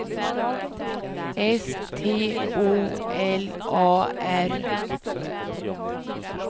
S T O L A R